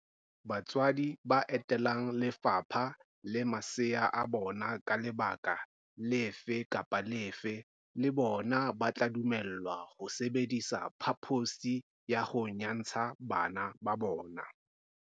Batswetse ba etelang le fapha le masea a bona ka lebaka lefe kapa lefe le bona ba tla dumellwa ho sebedisa phaposi ho nyantsha bana ba bona.